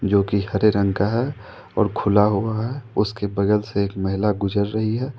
जो कि हरे रंग का है और खुला हुआ है उसके बगल से एक महिला गुजर रही है।